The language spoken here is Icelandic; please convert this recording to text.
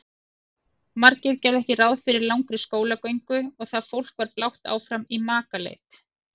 Margir gerðu ekki ráð fyrir langri skólagöngu og það fólk var blátt áfram í makaleit.